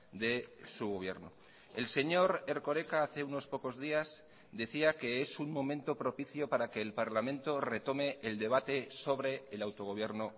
de su gobierno el señor erkoreka hace unos pocos días decía que es un momento propicio para que el parlamento retome el debate sobre el autogobierno